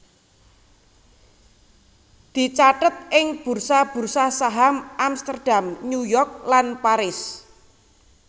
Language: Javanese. dicathet ing bursa bursa saham Amsterdam New York lan Paris